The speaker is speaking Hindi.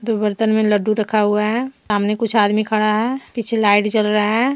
बर्तन में लड्डू रखा हुआ है सामने कुछ आदमी खड़ा है पीछे लाइट जल रहा है।